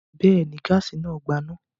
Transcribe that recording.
Bẹ́ẹ̀ ni, gáásì náà gbaná.